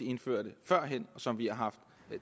indførte førhen og som vi har haft